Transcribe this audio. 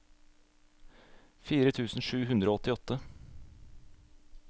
fire tusen sju hundre og åttiåtte